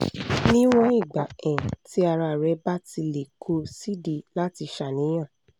níwọ̀n ìgbà um tí ara rẹ bá ti le kò sídìí láti ṣàníyàn